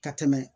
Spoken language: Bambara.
Ka tɛmɛ